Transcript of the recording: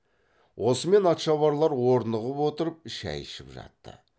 осымен атшабарлар орнығып отырып шай ішіп жатты